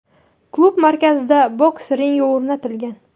Klub markazida boks ringi o‘rnatilgan.